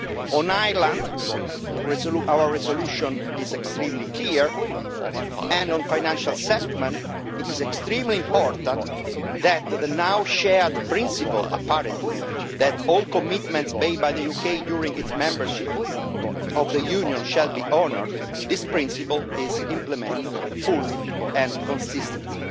On Ireland, our resolution is extremely clear, and on financial settlement it is extremely important that the now shared principle, apparently, that all commitments made by the UK during its membership of the Union shall be honoured is implemented fully and consistently.